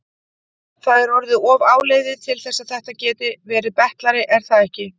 Það er orðið of áliðið til þess að þetta gæti verið betlari, er það ekki?